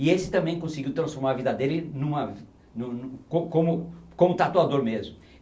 E esse também conseguiu transformar a vida dele em uma nu nu co como como tatuador mesmo.